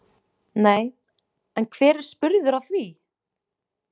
Nei, en hver er spurður að því?